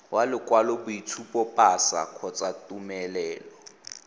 wa lokwaloboitshupo pasa kgotsa tumelelo